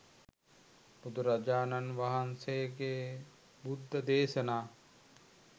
බුදුරජාණන් වහන්සේගේ බුද්ධ දේශනා